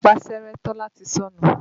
Ìpáṣẹ́rẹ́ Tọ́lá ti sọnù.